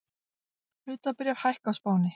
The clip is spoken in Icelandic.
Hlutabréf hækka á Spáni